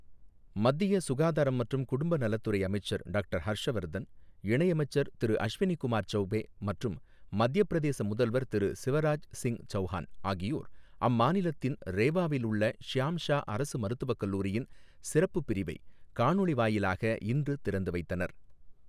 மத்திய சுகாதாரம் மற்றும் குடும்ப நலத்துறை அமைச்சர் டாக்டர் ஹர்ஷவர்தன், இணை அமைச்சர் திரு அஷ்வினி குமார் சௌபே மற்றும் மத்தியப் பிரதேச முதல்வர் திரு சிவராஜ் சிங் சவுகான் ஆகியோர் அம்மாநிலத்தின் ரேவாவில் உள்ள ஷ்யாம் ஷா அரசு மருத்துவக் கல்லூரியின் சிறப்புப் பிரிவைக் காணொளி வாயிலாக இன்று திறந்து வைத்தனர்.